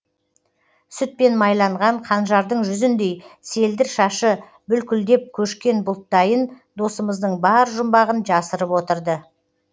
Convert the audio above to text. сүтпен майланған қанжардың жүзіндей селдір шашы бүлкілдеп көшкен бұлттайын досымыздың бар жұмбағын жасырып отырды